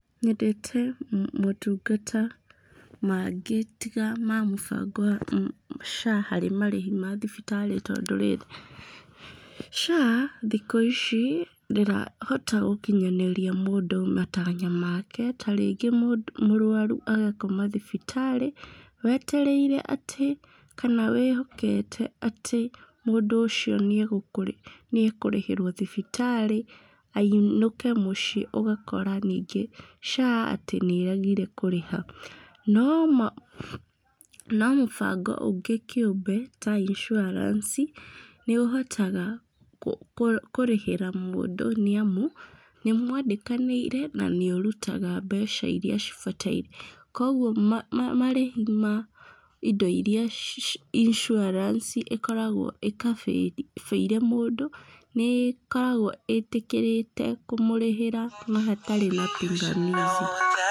Nyendete motungata mangĩ tiga ma mũbango wa SHA harĩ marĩhi mathibitarĩ tondũ rĩrĩ, SHA thikũ ici ndĩrahota gũkinyanĩria mũndũ matanya make, tarĩngĩ mũrwaru agakoma thibitarĩ, wetereire atĩ kana wĩhokete atĩ mũndũ ũcio nĩekũrĩhĩrwo thibitarĩ ainũke mũciĩ, ũgakora ningĩ SHA atĩ nĩregire kũrĩha. No no mũbango ũngĩ kĩũmbe ta incuaranci, nĩũhotaga kũrĩhĩra mũndũ nĩamu, nĩmwandĩkanĩire na nĩũrutaga mbeca iria cibataire, kwoguo marĩhi ma indo iria incuaranci ĩkoragwo ĩkabĩire mũndũ, nĩĩkoragwo ĩtĩkĩrĩte kũmũrĩhĩra ona hatarĩ na pingamizi.